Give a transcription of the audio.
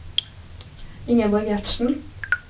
Ingeborg Gjertsen